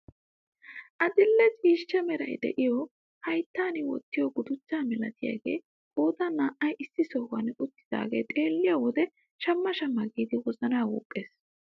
Adil'e ciishsha meray de'iyoo hayttan wottiyoo guduchchaa milatiyaagee qoodan naa"ay issi sohuwaan uttidagaa xeelliyo wode shamma shamma giidi wozanaa wuuqqes.